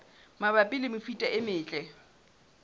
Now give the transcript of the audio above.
mabapi le mefuta e metle